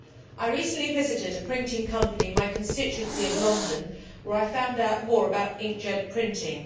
I recently visited a printing company in my constituency of London, where I found out more about ink jet printing.